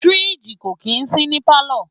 Fridge kò kì í sí ní palo.